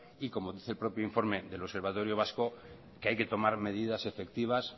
y como dice el propio informe del observatorio vasco que hay que tomar medidas efectivas